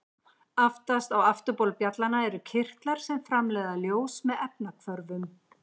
Aftast á afturbol bjallanna eru kirtlar sem framleiða ljós með efnahvörfum.